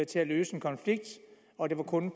til at løse en konflikt og det var kun